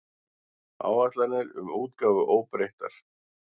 Áætlanir um útgáfu óbreyttar